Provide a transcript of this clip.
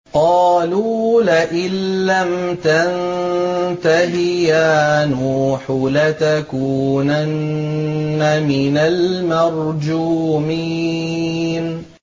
قَالُوا لَئِن لَّمْ تَنتَهِ يَا نُوحُ لَتَكُونَنَّ مِنَ الْمَرْجُومِينَ